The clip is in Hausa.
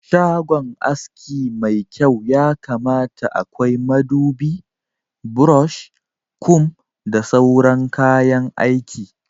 Shagon aski mai kyau yakamata akwai madubi, brosh, kum da sauran kayan aiki